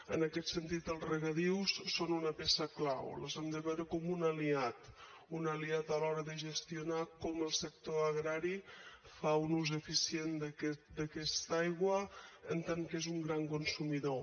en aquest sentit els regadius són una peça clau els hem de veure com un aliat un aliat a l’hora de gestionar com el sector agrari fa un ús eficient d’aquesta aigua en tant que n’és un gran consumidor